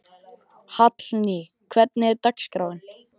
Hallný, hvernig er dagskráin?